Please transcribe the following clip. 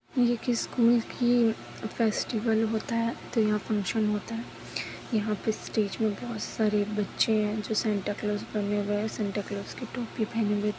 इस स्कूल की फेस्टिवल होता है तो यहाँ फंक्शन होता है यहाँ पे स्टेज में बोहत सारे बच्चे है जो सेंटाक्लॉस बने हुए है सेंटाक्लॉस की टोपी पहनी हुई है।